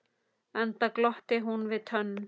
Enda glotti hún við tönn.